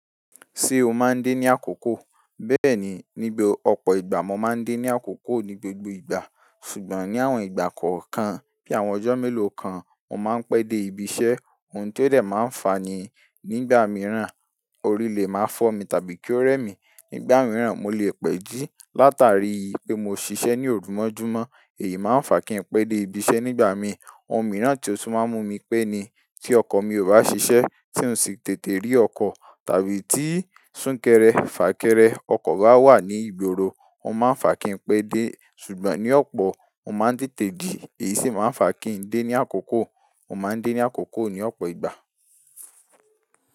Ṣé o máa ń dé ní àkókò? Bẹ́ẹ̀ni, níbi ọ̀pọ̀ ìgbà mo máa ń dé ní àkókò ní gbogbo ìgbà. Ṣùgbọ́n ní àwọn ìgbà kọ̀ọ̀kan bí àwọn ọjọ́ mélòó kan, mo máa ń pẹ́ dé ibi iṣẹ́. Ohun tó dẹ̀ máa ń fa ni, nígbà mìíràn, orí lè máa fọ́ mi tàbí kí ó rẹ́ mi. Nígbà mìíràn, mo lè pẹ́ jí. Látàrí i pé mo ṣiṣẹ́ ní òru mọ́júmọ́, èyí máa ń fà kí ń pẹ́ dé ibi iṣẹ́ nígbà mi. Ohun mìíràn tí ó tún máa ń mú mi pẹ́ ni tí ọkọ̀ mi ò bá ṣiṣẹ́, tí ún ṣi tètè rí ọkọ̀ tàbí tí súnkẹrẹ fàkẹrẹ ọkọ̀ bá wà ní ìgboro, ò máa ń fà kí ń pẹ́ dé. Ṣùgbọ́n ní ọ̀pọ̀, mo máa ń tètè dé, èyí sì máa ń fà kí ń dé ní àkókò. Mo máa ń dé ní àkókò ní ọ̀pọ̀ ìgbà.